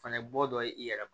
Fana bɔ dɔ ye i yɛrɛ ma